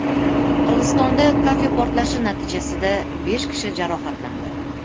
Qirg‘izistonda kafe portlashi natijasida besh kishi jarohatlandi.